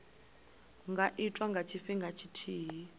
nga itwa nga tshifhinga tshithihi